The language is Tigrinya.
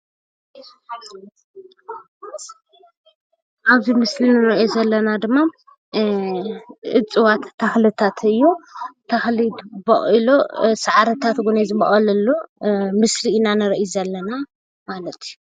ኣብዚ ምስሊ ንሪኦ ዘለና ድማ እፅዋት ተክልታት እዩ ።ተክሊ ቦቂሉ ሳዕርታት እውን ዝቦቀለ ኣሎ ምስሊ ኢና ንሪኢ ዘለና ማለት እዩ።